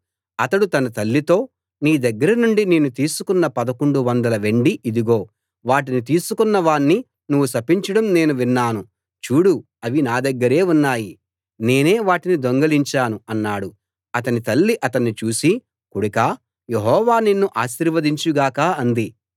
అతడు తన తల్లితో నీ దగ్గర నుండి నేను తీసుకున్న పదకొండు వందల వెండి ఇదిగో వాటిని తీసుకున్న వాణ్ణి నువ్వు శపించడం నేను విన్నాను చూడు అవి నా దగ్గరే ఉన్నాయి నేనే వాటిని దొంగిలించాను అన్నాడు అతని తల్లి అతణ్ణి చూసి కొడుకా యెహోవా నిన్ను ఆశీర్వదించు గాక అంది